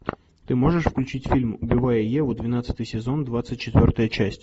ты можешь включить фильм убивая еву двенадцатый сезон двадцать четвертая часть